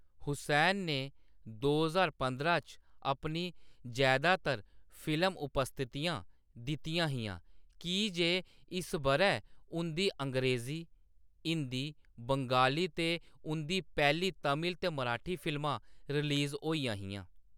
हुसैन ने दो ज्हार पंदरां च अपनी जैदातर फिल्म उपस्थितियां दित्तियां हियां की जे इस बʼरै उंʼदी अंग्रेजी, हिंदी, बंगाली ते उंʼदी पैह्‌ली तमिल ते मराठी फिल्मां रिलीज होइयां हियां।